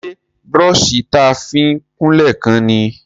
Ṣé brọ́ṣì ta fi ń kunlé kán ni?